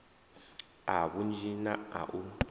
a vhunzhi na a u